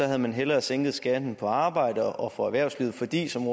havde man hellere sænket skatten på arbejde og for erhvervslivet fordi som